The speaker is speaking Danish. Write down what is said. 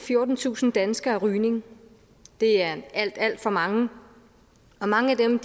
fjortentusind danskere af rygning det er alt alt for mange mange af dem er